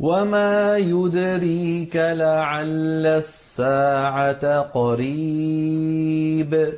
وَمَا يُدْرِيكَ لَعَلَّ السَّاعَةَ قَرِيبٌ